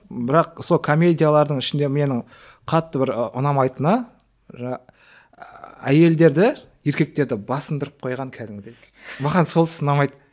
бірақ сол комедиялардың ішінде менің қатты бір і ұнамайтыны әйелдерді еркектерді басындырып қойған кәдімгідей маған сонысы ұнамайды